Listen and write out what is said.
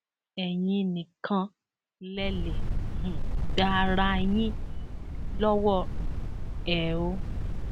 ẹyin nìkan lẹ lè um gba ara yín lọwọ um ẹ o